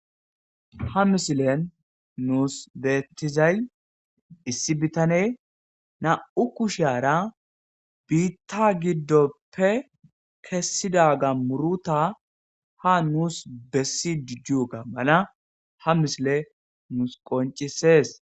ha misilen nuus beettizay issi bitane na'u kushshara biitta giddoppe kessidda ga muruta ha nuus bessi diyogga mala ha misiley muus qoncisees